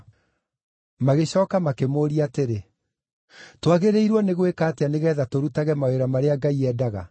Magĩcooka makĩmũũria atĩrĩ, “Twagĩrĩirwo nĩ gwĩka atĩa nĩgeetha tũrutage mawĩra marĩa Ngai endaga?”